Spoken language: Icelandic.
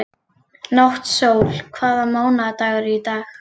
Náttsól, hvaða mánaðardagur er í dag?